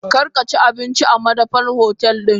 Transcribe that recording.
Karkaci abinci a madafan hotel din!